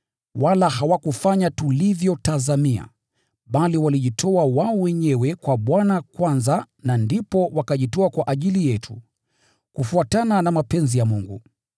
Wala hawakufanya tulivyotazamia, bali walijitoa wao wenyewe kwa Bwana kwanza na ndipo wakajitoa kwa ajili yetu, kufuatana na mapenzi ya Mungu.